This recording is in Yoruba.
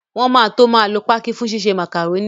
Wọn máa tó máa lo pákí fún ṣíṣe màkàrónì